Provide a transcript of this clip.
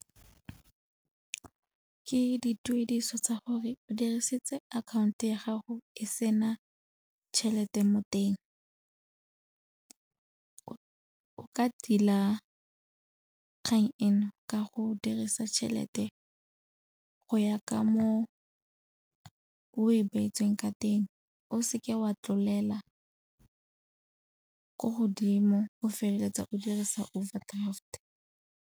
Ke dituediso tsa gore o dirisitse akhaonto ya gago e sena tšhelete mo teng. O ka tila kgang eno ka go dirisa tšhelete go ya ka mo o e beetsweng ka teng o seke wa tlolela ko godimo, o feleletsa o dirisa overdraft.